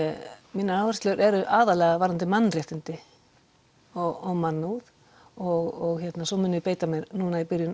mínar áherslur eru aðallega varðandi mannréttindi og mannúð og svo mun ég núna í byrjun